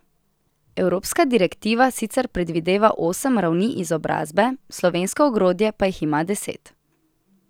Evropska direktiva sicer predvideva osem ravni izobrazbe, slovensko ogrodje pa jih ima deset.